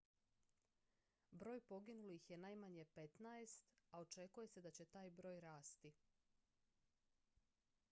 broj poginulih je najmanje 15 a očekuje se da će taj broj rasti